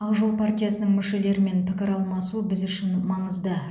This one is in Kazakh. ақ жол партиясының мүшелерімен пікір алмасу біз үшін маңызды